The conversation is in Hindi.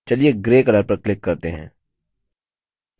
चलिए grey color पर click करते हैं